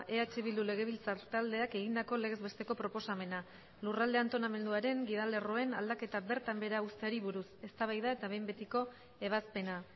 eh bildu legebiltzar taldeak egindako legez besteko proposamena lurralde antolamenduaren gidalerroen aldaketa bertan behera uzteari buruz eztabaida eta behin betiko ebazpena